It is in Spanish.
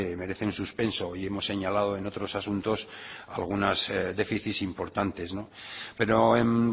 merece un suspenso y hemos señalado en otros asuntos algunos déficits importantes pero en